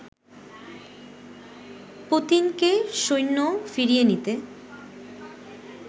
পুতিনকে সৈন্য ফিরিয়ে নিতে